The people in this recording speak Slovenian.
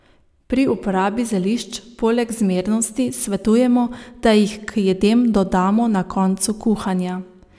Pri uporabi zelišč poleg zmernosti svetujemo, da jih k jedem dodamo na koncu kuhanja.